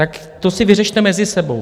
Tak to si vyřešte mezi sebou.